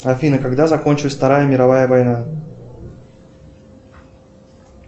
афина когда закончилась вторая мировая война